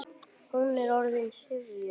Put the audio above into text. Hún er orðin syfjuð.